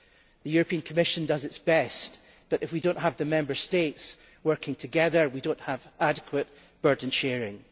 The European Commission does its best, but if we do not have the Member States working together, we do not have adequate burden sharing.